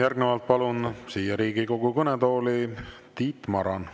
Järgnevalt palun siia Riigikogu kõnetooli Tiit Marani.